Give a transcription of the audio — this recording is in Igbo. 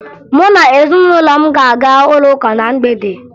Mụ na ezinụlọ m ga-aga ụlọụka na mgbede